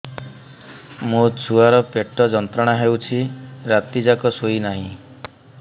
ମୋ ଛୁଆର ପେଟ ଯନ୍ତ୍ରଣା ହେଉଛି ରାତି ଯାକ ଶୋଇନାହିଁ